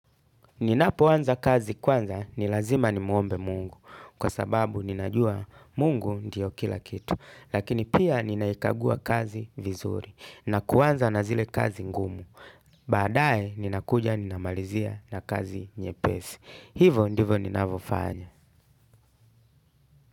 Ninapoanza kazi kwanza ni lazima nimuombe Mungu kwa sababu ninajua Mungu ndiyo kila kitu. Lakini pia ninaikagua kazi vizuri na kuanza na zile kazi ngumu. Baadae ninakuja ninamalizia na kazi nyepesi. Hivo ndivo ninavofanya.